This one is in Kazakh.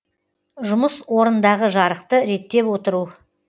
жұмыс орындағы жарықты реттеп отыру